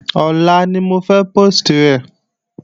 Ọ̀la ni mo fẹ́ póòstì rẹ̀